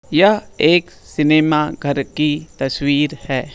यह एक सिनेमा घर की तस्वीर है।